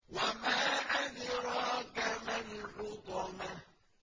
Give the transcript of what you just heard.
وَمَا أَدْرَاكَ مَا الْحُطَمَةُ